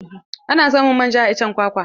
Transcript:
Ana samun manja a iccen kwakwa.